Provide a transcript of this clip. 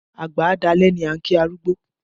Àgbà á dalẹ́ ni a ń kí arúgbó